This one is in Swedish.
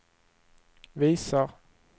visar